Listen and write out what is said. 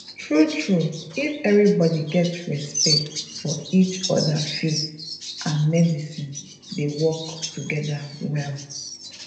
true true if everybody get respect for each other faith and medicine dey work together well